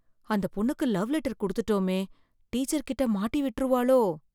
அந்தப் பொண்ணுக்கு love letter கொடுத்துட்டோமே டீச்சர்கிட்ட மாட்டி விட்டுருவாளோ.